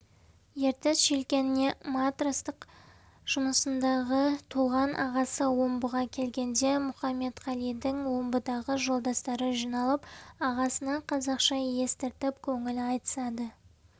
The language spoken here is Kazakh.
ертіс желкеніне матростық жұмысындағы туған ағасы омбыға келгенде мұқаметқалидың омбыдағы жолдастары жиналып ағасына қазақша естіртіп көңіл айтысады